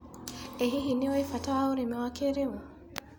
ĩ hihi nĩũĩ bata wa ũrĩmi wa kĩrĩũ.